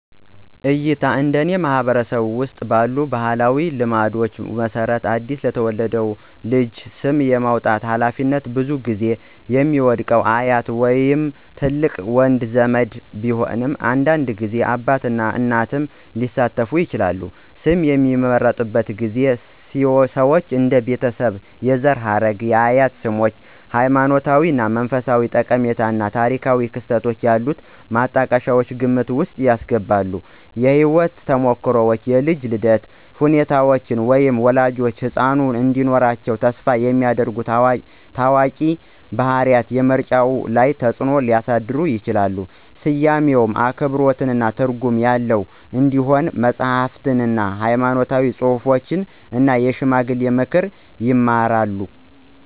ያትአኔ ማህበረሰብ ውስጥ ባሉ ባህላዊ ልማዶች መሰረት አዲስ የተወለደውን ልጅ ስም የመስጠት ሃላፊነት ብዙውን ጊዜ የሚወድቀው አያት ወይም ታላቅ ወንድ ዘመድ ቢሆንም አንዳንድ ጊዜ አባት ወይም እናት ሊሳተፉ ይችላሉ። ስም በሚመርጡበት ጊዜ ሰዎች እንደ የቤተሰብ የዘር ሐረግ፣ የአያት ስሞች፣ ሃይማኖታዊ ወይም መንፈሳዊ ጠቀሜታ እና ታሪካዊ ክስተቶች ያሉ ማጣቀሻዎችን ግምት ውስጥ ያስገባሉ። የህይወት ተሞክሮዎች, የልጁ የልደት ሁኔታዎች, ወይም ወላጆች ህጻኑ እንዲኖራቸው ተስፋ የሚያደርጉ ታዋቂ ባህሪያት በምርጫው ላይ ተጽእኖ ሊያሳድሩ ይችላሉ. ስያሜው አክብሮትና ትርጉም ያለው እንዲሆን መጽሐፍትን፣ ሃይማኖታዊ ጽሑፎችን እና የሽማግሌዎችን ምክር ይማራሉ።